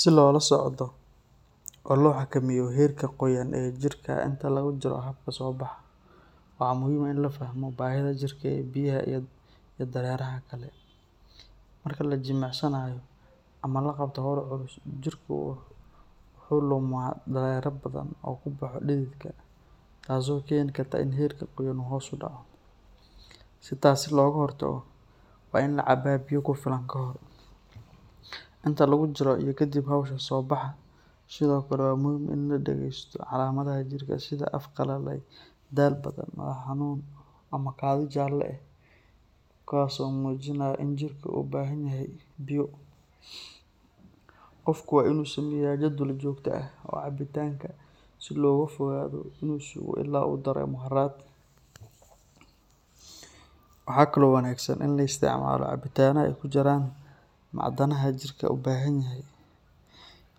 Si loo la socdo oo loo xakameeyo heerka qoyaan ee jirka inta lagu jiro habka soobaxa, waxaa muhiim ah in la fahmo baahida jirka ee biyaha iyo dareeraha kale. Marka la jimicsanayo ama la qabto hawl culus, jirka wuxuu lumaa dareere badan oo uu ku baxo dhididka, taasoo keeni karta in heerka qoyaan uu hoos u dhaco. Si taas looga hortago, waa in la cabaa biyo ku filan kahor, inta lagu jiro, iyo kadib hawsha soobaxa. Sidoo kale, waa muhiim in la dhegeysto calaamadaha jirka sida af qallalay, daal badan, madax xanuun ama kaadi jaalle ah, kuwaasoo muujinaya in jirku u baahan yahay biyo. Qofku waa inuu sameeyaa jadwal joogto ah oo cabitaanka si looga fogaado inuu sugo ilaa uu dareemo harraad. Waxaa kaloo wanaagsan in la isticmaalo cabitaanno ay ku jiraan macdanaha jirku u baahan yahay